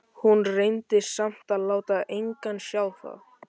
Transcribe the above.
Hún reyndi samt að láta engan sjá það.